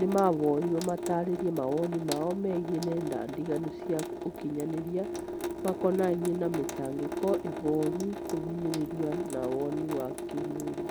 nimahoirwo matarĩrie mawoni mao megiĩ nenda ndiganu cia ũkinyanĩria makonainie na mĩtangĩko, ihoru, kũhinyĩrĩrio na woni wa kĩmwĩrĩ